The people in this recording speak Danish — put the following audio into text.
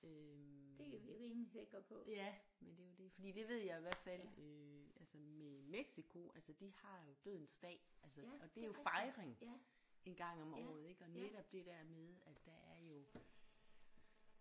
Øh ja men det er jo det fordi det ved jeg i hvert fald øh altså i Mexico altså de har jo dødens dag altså og det er jo fejring en gang om året ik og netop det der med at der er jo